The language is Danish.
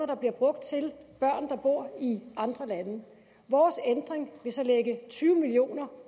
der bliver brugt til børn der bor i andre lande vores ændring vil så lægge tyve million